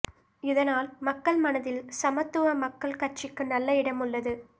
இதனால் மக்கள் மனதில் சமத்துவ மக்கள் கட்சிக்கு நல்ல இடம் உள்ளது